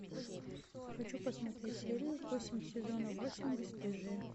хочу посмотреть серию восемь сезона восемь бесстыжие